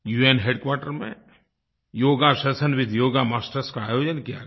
उन हेडक्वार्टर में yoga session with yoga masters का आयोजन किया गया